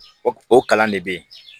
O o kalan de bɛ yen